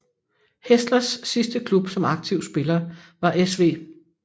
Hässlers sidste klub som aktiv spiller var SV